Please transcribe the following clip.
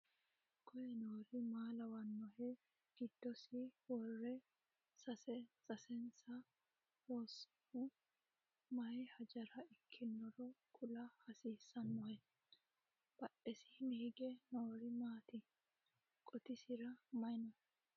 koye noori maa lawannohe? giddosi worre seesinse lonsonnihu maye hajara ikkinoro kula hasiissanohe? badhesiinni hige noori maati? qotisira maye no?